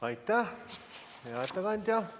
Aitäh, hea ettekandja!